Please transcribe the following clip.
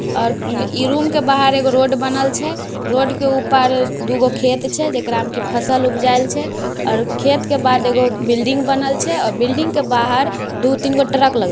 और इ इ रूम के बाहर एगो रोड छे। रोड के उ पार दुगो खेत छे जेकरा मे की फसल उब्जायेल छे और खेत के बाद एगो बिल्डिंग बनल छे औ बिल्डिंग के बाहर दु-तीनगो ट्रक लगल--